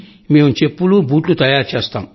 మేం చెప్పులు బూట్లు తయారు చేస్తాం